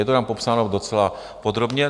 Je to tam popsáno docela podrobně.